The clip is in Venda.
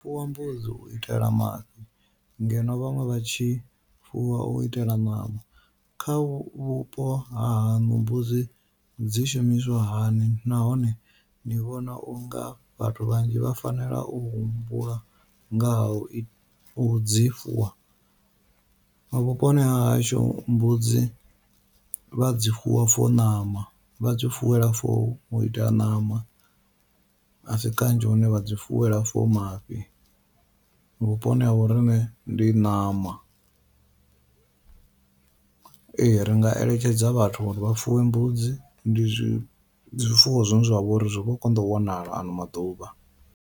U fuwa mbudzi u itela mafhi ngeno vhaṅwe vha tshi fuwa u itela ṋama, kha vhupo hahaṋu mbudzi dzi shumiswa hani nahone ni vhona unga vhathu vhanzhi vha fanela u humbula ngaha u u dzi fuwa, vhuponi hahashu mbudzi vha dzi fuwa for ṋama vha dzi fuwela for u itela ṋama. Asi kanzhi hune vha dzi fuwela for mafhi vhuponi ha vhoriṋe ndi ṋama, ee ri nga eletshedza vhathu uri vha fuwe mbudzi ndi zwifuwo zwine zwavha uri zwi vho konḓa u wanala ano maḓuvha.